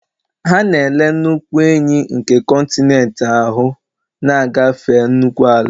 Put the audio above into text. Ha na-ele nnukwu enyí nke kọntinent ahụ, na-agafe nnukwu ala